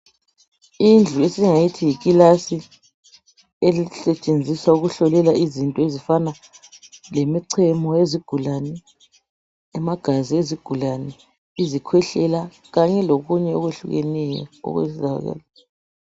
Indlu esingayithi yikilasi esetshenziswa ukuhlolela izinto ezifana le michemo yezigulane, amagazi ezigulane, izikhwehlela kanye lokunye okwehlukeneyo.